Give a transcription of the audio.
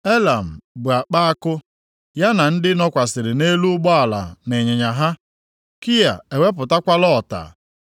Elam bu akpa àkụ, ya na ndị nọkwasịrị nʼelu ụgbọala na ịnyịnya ha; Kia ewepụtakwala ọta.